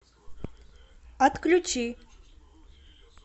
отключи